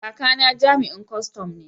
Kakana jami'in kwastan ne.